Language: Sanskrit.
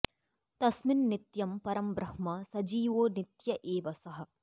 तस्मिन् नित्यं परं ब्रह्म सजीवो नित्य एव सः